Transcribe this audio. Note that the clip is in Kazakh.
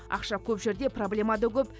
ақша көп жерде проблема да көп